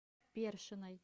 першиной